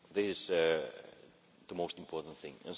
This is the most important thing.